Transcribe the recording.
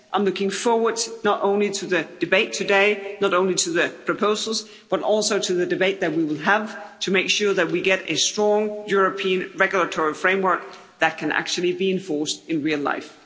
I'm looking forward not only to the debate today, not only to the proposals, but also to the debate that we will have to make sure that we get a strong European regulatory framework that can actually be enforced in real life.